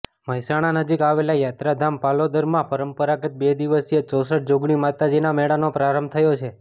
મહેસાણા નજીક આવેલા યાત્રાધામ પાલોદરમાંં પરંપરાગત બે દિવસીય ચોસઠ જોગણી માતાજીના મેળાનો પ્રારંભ થયો છે